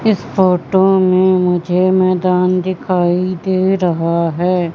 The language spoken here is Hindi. इस फोटो में मुझे मैदान दिखाई दे रहा है।